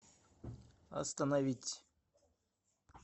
остановить